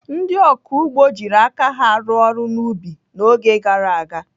Ndị ọkụ ugbo jiri aka ha rụọ ọrụ n'ubi n'oge gara aga.